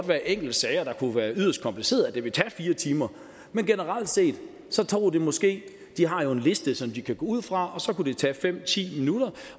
være enkelte sager der kunne være yderst komplicerede så det ville tage fire timer men generelt set tog det måske de har jo en liste som de kan gå ud fra fem ti minutter